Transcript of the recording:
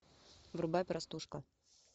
врубай простушка